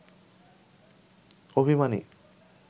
অভিমানী